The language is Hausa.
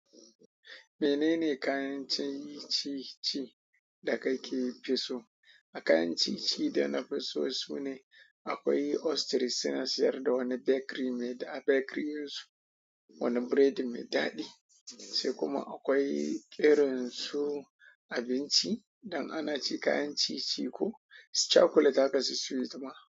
Menene kayan ciye-ciye da kake fi so? A kayan ciye-ciye da na fi so sune akwai ostrich suna siyar da wani bakery mai da a bakery in su wani biredi mai daɗi sai kuma akwai irin su abinci idan ana ci kayan ci-ci ko chocolate haka su sweet ma.